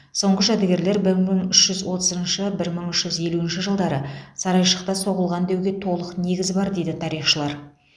соңғы жәдігерлер бір мың үш жүз отызыншы бір мың үш жүз елуінші жылдары сарайшықта соғылған деуге толық негіз бар дейді тарихшылар